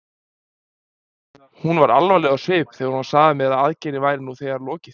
Hún var alvarleg á svip þegar hún sagði mér að aðgerðinni væri þegar lokið.